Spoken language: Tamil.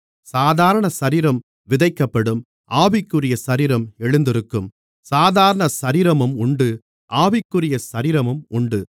சாதாரண சரீரம் விதைக்கப்படும் ஆவிக்குரிய சரீரம் எழுந்திருக்கும் சாதாரண சரீரமும் உண்டு ஆவிக்குரிய சரீரமும் உண்டு